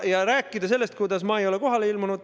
Ja rääkida sellest, et ma ei ole kohale ilmunud ...